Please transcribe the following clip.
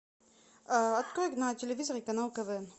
открой на телевизоре канал квн